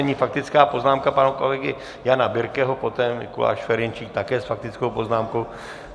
Nyní faktická poznámka pana kolegy Jana Birkeho, poté Mikuláš Ferjenčík, také s faktickou poznámkou.